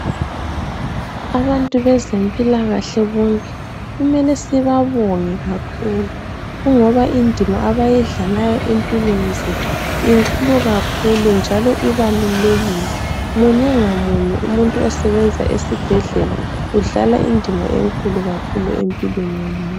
abantu bezempilakahle bonke kumele sibabonge kakhulu kungoba indima abayidlalayo empilweni zethu inkulu kakhulu njalo ibalulekile munye ngamunye umuntu osebenza esibhedlela udlala indima enkulu kakhulu empilweni yomuntu